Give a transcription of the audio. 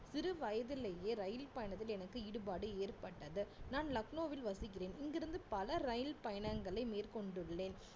சிறு வயதிலேயே ரயில் பயணத்தில் எனக்கு ஈடுபாடு ஏற்பட்டது நான் லக்னோவில் வசிக்கிறேன் இங்கிருந்து பல ரயில் பயணங்களை மேற்கொண்டுள்ளேன்